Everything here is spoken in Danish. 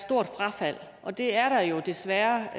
stort frafald og det er der jo desværre